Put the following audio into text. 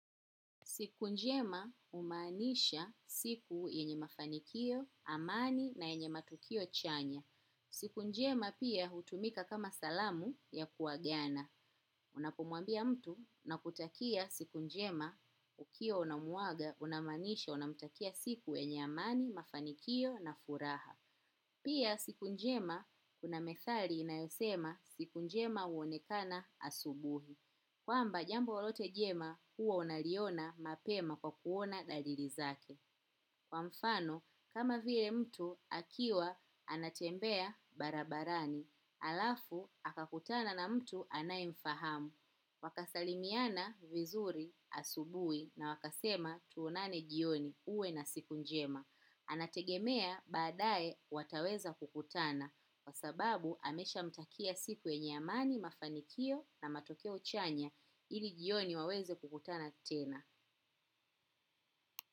Siku njema humaanisha siku yenye mafanikio, amani na yenye matukio chanya. Siku njema pia hutumika kama salamu ya kuagana. Unapomwambia mtu nakutakia siku njema ukiwa unamuaga unamaanisha unamtakia siku yenye amani, mafanikio na furaha. Pia siku njema kuna methali inayosema siku njema huonekana asubuhi. Kwamba jambo lolote jema huwa unaliona mapema kwa kuona dalili zake. Kwa mfano, kama vile mtu, akiwa anatembea barabarani. Alafu, akakutana na mtu anaemfahamu. Wakasalimiana vizuri asubuhi na wakasema tuonane jioni uwe na siku njema. Anategemea badae wataweza kukutana. Kwa sababu ameshamtakia siku yenye amani mafanikio na matokeo chanya ili jioni waweze kukutana tena.